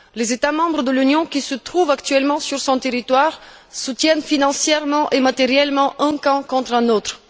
Les États membres de l'Union qui sont actuellement présents sur son territoire soutiennent financièrement et matériellement un camp contre un autre.